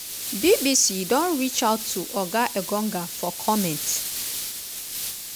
bbc don reach out to oga engonga for comment.